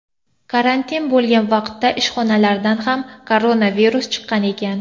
Karantin bo‘lgan vaqtda ishxonalaridan ham koronavirus chiqqan ekan.